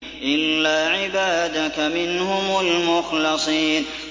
إِلَّا عِبَادَكَ مِنْهُمُ الْمُخْلَصِينَ